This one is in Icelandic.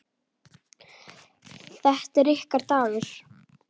Þetta er ykkar dagur.